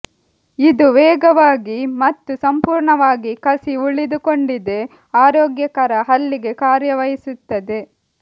ಇದು ವೇಗವಾಗಿ ಮತ್ತು ಸಂಪೂರ್ಣವಾಗಿ ಕಸಿ ಉಳಿದುಕೊಂಡಿದೆ ಆರೋಗ್ಯಕರ ಹಲ್ಲಿಗೆ ಕಾರ್ಯ ವಹಿಸುತ್ತಾರೆ